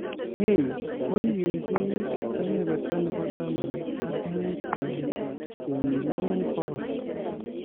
Hay koribe beek kebeberta nebo taman ak muut kenyilee bokol